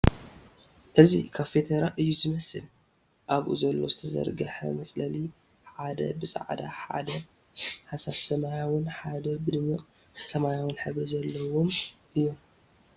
እዚ ካፌ ተራ እዩ ዝመስል ኣብኡ ዘሎ ዝተዘርገሓ መፅለሊ ሓደ ብፃዕዳ ሓደ ሓሳስ ሰማያዎን ሓደ ብደማቕ ሰማያዊ ሕብሪ ዘለዎም እዮም ።